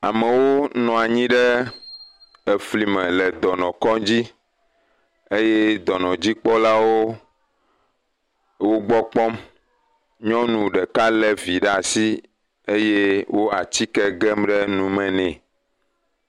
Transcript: Amewo nɔ anyi ɖe efli me le dɔnɔkŋndzi eye dɔnɔdzikpɔlawo le wo gbɔ kpɔm, nyɔnu ɖeka lé evi ɖe asi eye wole atike gem ɖe nume nɛ.